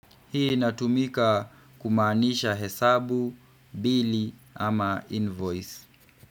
Hii inatumika kumaanisha hesabu, bili ama invoice.